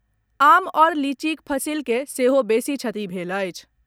आम आओर लीचीक फसिल के सेहो बेसी क्षति भेल अछि।